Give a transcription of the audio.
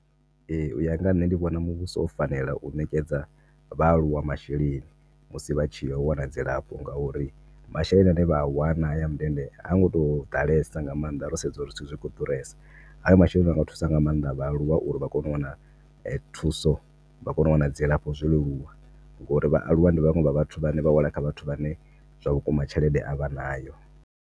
Ee, uya nga ha nṋe ndi vhona muvhuso wo fanela u ṋekedza vhaaluwa masheleni musi vhatshi ya u wana dzilafho nga uri masheleni ane vha a wana haya a mundende ha ngoto ḓalesa nga maanḓa ro sedza uri zwithu zwi kho ḓuresa. Haya masheleni anga thusa nga maanḓa vha aluwa uri vha kone u wana thuso vha kone u wana dzilafho zwo leluwa ngori vhaaluwa ndi vhaṅwe vha vhathu vhane vha wela kha vhathu vhane zwavhukuma tshelede a vhanayo.